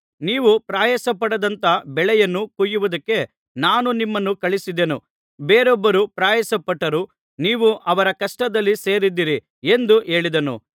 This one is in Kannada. ನೀವು ಪ್ರಯಾಸ ಪಡದಂಥ ಬೆಳೆಯನ್ನು ಕೊಯ್ಯುವುದಕ್ಕೆ ನಾನು ನಿಮ್ಮನ್ನು ಕಳುಹಿಸಿದೆನು ಬೇರೊಬ್ಬರು ಪ್ರಯಾಸಪಟ್ಟರು ನೀವು ಅವರ ಕಷ್ಟದಲ್ಲಿ ಸೇರಿದ್ದೀರಿ ಎಂದು ಹೇಳಿದನು